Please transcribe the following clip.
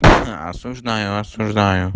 осуждаю осуждаю